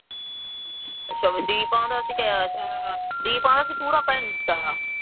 ਸ਼ਬਦੀ ਪਾਉਂਦਾ ਸੀ ਜਾਂ ਡੀ ਪਾਉਂਦਾ ਸੀ